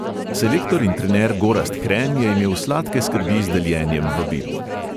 Selektor in trener gorazd hren je imel sladke skrbi z deljenjem vabil.